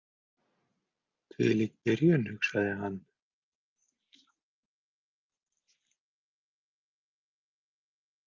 Hvílík byrjun, hugsaði hann.